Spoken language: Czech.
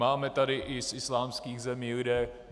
Máme tady i z islámských zemí lidi.